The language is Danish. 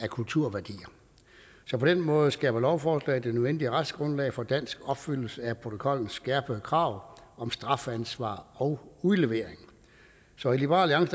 kulturværdier så på den måde skaber lovforslaget det nødvendige retsgrundlag for en dansk opfyldelse af protokollens skærpede krav om strafansvar og udlevering så i liberal